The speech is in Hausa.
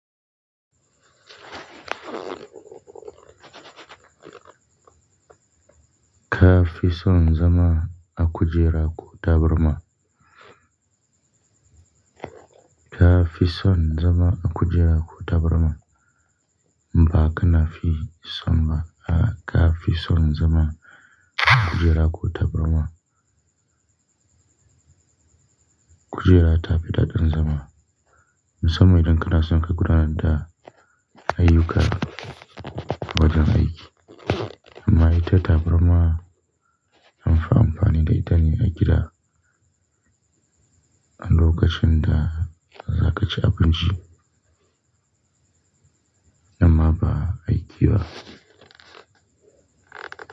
Ka fi son zama a kujera ko taburma? Ka fi son zama a kujera ko taburma? Ba ka na fi son ba. A'a, ka fi son zama a kujera ko taburma? Kujera ta fi daɗin zama, musamman idan ka na son ka gudanar da ayyuka wajen aiki. Amma ita taburma anfi amfani da ita ne a gida, a lokacin da, za ka ci abinci? Amma ba aiki ba.